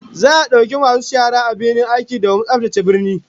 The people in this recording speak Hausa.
Za'a dauki masu shara a birnin aiki domin tsaftace birnin